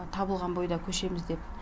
табылған бойда көшеміз деп